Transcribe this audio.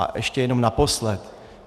A ještě jenom naposled.